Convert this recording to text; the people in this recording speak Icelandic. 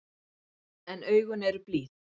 En augun eru blíð.